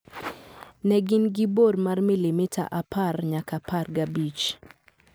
Ne gin gi bor mar milimita 10 nyaka 15.